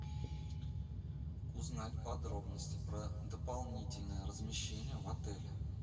узнать подробности про дополнительное размещение в отеле